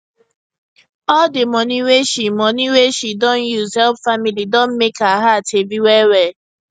all di money wey she money wey she don use help family don mek her heart heavy wellwell